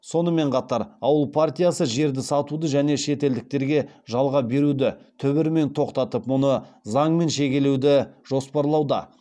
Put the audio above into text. сонымен қатар ауыл партиясы жерді сатуды және шетелдіктерге жалға беруді түбірімен тоқтатып мұны заңмен шегелеуді жоспарлауда